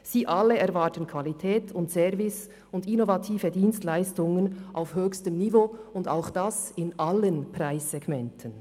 Sie alle erwarten Qualität, Service und innovative Dienstleistungen auf höchstem Niveau in allen Preissegmenten.